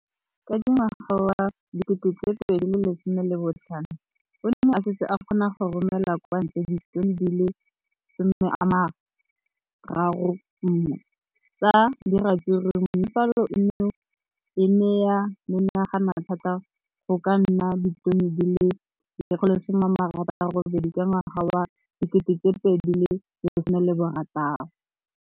Ka ngwaga wa 2015, o ne a setse a kgona go romela kwa ntle ditone di le 31 tsa ratsuru mme palo eno e ne ya menagana thata go ka nna ditone di le 168 ka ngwaga wa 2016.